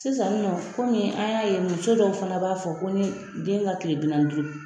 Sisannɔ komi an y'a ye muso dɔw fana b'a fɔ ko ni den ka tile bi naani duuru.